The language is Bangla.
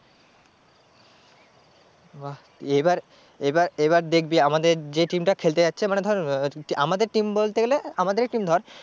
বাহ এবার এবার এবার দেখবি আমাদের যে team টা খেলতে যাচ্ছে মানে ধর আহ আমাদের team বলতে গেলে আমাদেরই team ধর